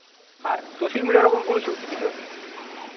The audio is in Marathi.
हां, सोशल मीडिया वर आपण बोलू शकतो सर.